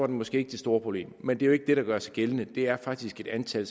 måske ikke det store problem men det er jo ikke det der gør sig gældende det er faktisk et antal